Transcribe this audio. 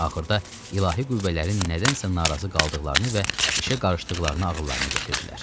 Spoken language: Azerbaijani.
Axırda ilahi qüvvələrin nədənsə narazı qaldıqlarını və işə qarışdıqlarını ağıllarına gətirdilər.